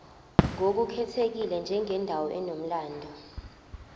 ngokukhethekile njengendawo enomlando